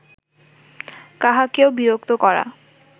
কাহাকেও বিরক্ত করা